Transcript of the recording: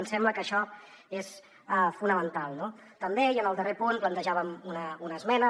ens sembla que això és fonamental no també i en el darrer punt plantejàvem una esmena